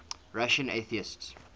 russian atheists